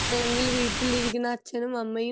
അല്ലെങ്കിൽ വീട്ടിൽ ഇരിക്കുന്ന അച്ഛനും അമ്മയും